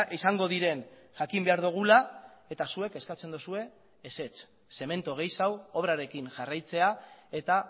izango diren jakin behar dugula eta zuek eskatzen duzue ezetz zementu gehiago obrarekin jarraitzea eta